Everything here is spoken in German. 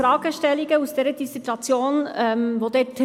Ich darf nun noch für die Kommission sprechen.